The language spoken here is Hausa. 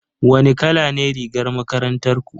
Wane kala ne rigar makarantar ku?